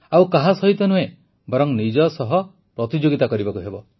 ଆଉ କାହା ସହିତ ନୁହେଁ ବରଂ ନିଜ ସହ ପ୍ରତିଯୋଗିତା କରିବାକୁ ହେବ